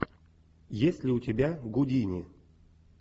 есть ли у тебя гудини